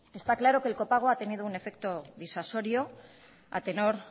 está claro que el copago ha tenido un efecto disuasorio a tenor